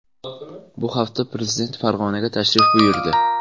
Bu hafta prezident Farg‘onaga tashrif buyurdi .